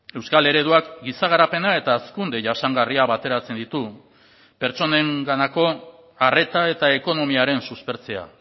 euskal ereduak giza garapena eta hazkunde jasangarria bateratzen ditu pertsonenganako arreta eta ekonomiaren suspertzea